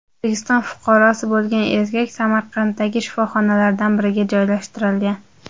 O‘zbekiston fuqarosi bo‘lgan erkak Samaradagi shifoxonalardan biriga joylashtirilgan.